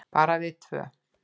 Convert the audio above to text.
Bara við tvö.